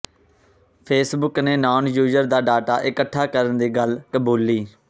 Facebook ਨੇ non user ਦਾ data ਇਕੱਠਾ ਕਰਨ ਦੀ ਗੱਲ ਕਬੂਲੀ